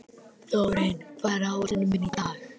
Margir fengu að hlaupa apríl þegar að þeim degi kom.